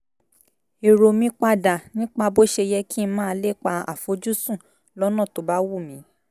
èrò mi pa dà nípa bó ṣe yẹ kí n máa lépa àfojúsùn lọ́nà tó bá wù mí